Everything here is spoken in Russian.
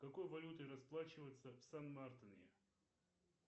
какой валютой расплачиваются в сан мартине